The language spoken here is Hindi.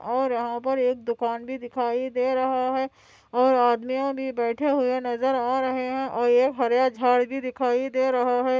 और यह पर एक दुकान भी दिखाई दे रहा हैं और आदमियों भी बैठे नजर आ रहे हैं और हरे - भरे झाड़ भी दिखाई दे रहा हैं।